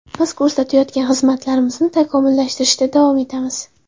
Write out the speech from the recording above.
Biz ko‘rsatayotgan xizmatlarimizni takomillashtirishda davom etamiz.